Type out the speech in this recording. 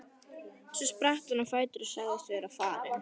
Svo spratt hann á fætur og sagðist vera farinn.